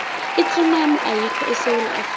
itsunami ayikho esewula afrika